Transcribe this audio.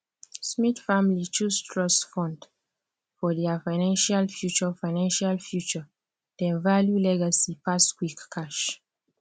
smith family choose trust fund for dia financial future financial future dem value legacy pass quick cash